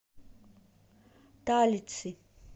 талицы